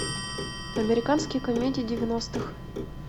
американские комедии девяностых